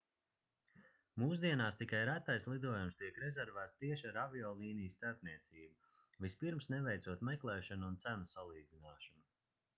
mūsdienās tikai retais lidojums tiek rezervēts tieši ar aviolīnijas starpniecību vispirms neveicot meklēšanu un cenu salīdzināšanu